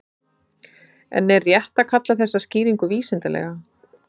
En er rétt að kalla þessa skýringu vísindalega?